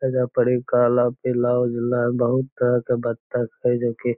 एजा पड़ी कला पीला उजला बहुत तरह के बत्तक हय जे की --